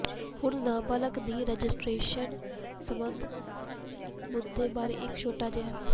ਹੁਣ ਨਾਬਾਲਗ ਦੀ ਰਜਿਸਟਰੇਸ਼ਨ ਸਬੰਧਤ ਮੁੱਦੇ ਬਾਰੇ ਇੱਕ ਛੋਟਾ ਜਿਹਾ